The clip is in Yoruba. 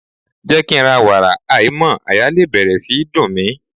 Jẹ́ kí ń ra wàrà aìímọ́ àyà lè bẹ̀rẹ̀ sí í dùn mí.